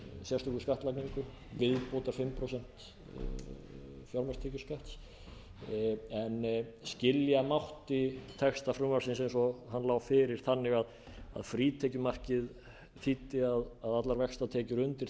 sérstöku skattlagningu viðbótar fimm prósent fjármagnstekjuskatts en skilja mátti texta frumvarpsins eins og hann lá fyrir þannig að frítekjumarkið þýddi að allar vaxtatekjur undir